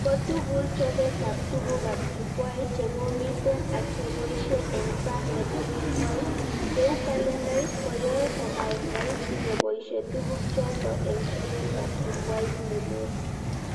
Kotugul chobetab tugukab jukwait chekomiten ak keboishe eng sang nebo jukwait, cheu kalendait, koyoe komaek raisi keboishe tuguk choto eng chobetab jukwait nelel